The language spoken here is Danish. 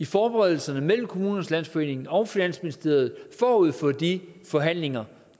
forberedelserne mellem kommunernes landsforening og finansministeriet forud for de forhandlinger